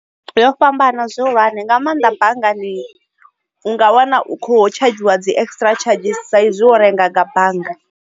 Yo fhambana zwihulwane nga maanḓa banngani unga wana u kho tsha dzhiwa dzi extra chargers sa izwi wo renga nga bannga.